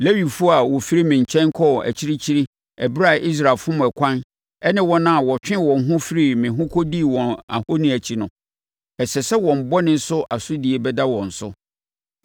“ ‘Lewifoɔ a wɔfirii me nkyɛn kɔɔ akyirikyiri ɛberɛ a Israel fom ɛkwan ne wɔn a wɔtwee wɔn ho firii me ho kɔdii wɔn ahoni akyi no, ɛsɛ sɛ wɔn bɔne so asodie bɛda wɔn so.